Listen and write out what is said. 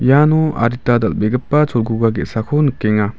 iano adita dal·begipa cholguga ge·sako nikenga.